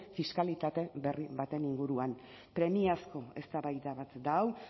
fiskalitate berri baten inguruan premiazko eztabaida bat da hau